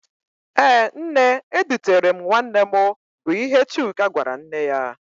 Ee, nne edutere m nwanne mụ bụ ihe Chuka gwara nne ya.